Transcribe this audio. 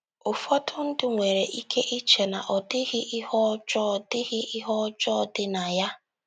Ụfọdụ ndị nwere ike iche na ọ dịghị ihe ọjọọ dị ihe ọjọọ dị na ya.